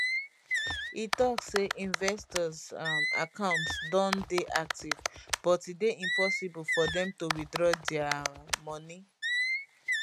e tok say investors um account don dey active but e dey impossible for dem to withdraw dia um money